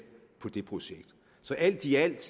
på det projekt så alt i alt